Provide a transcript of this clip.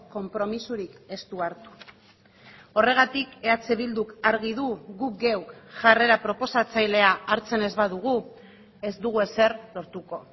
konpromisorik ez du hartu horregatik eh bilduk argi du gu geuk jarrera proposatzailea hartzen ez badugu ez dugu ezer lortuko